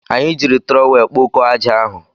Anyị jiri trọwel kpokọọ aja ahụ.